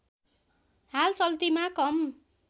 हाल चल्तीमा कम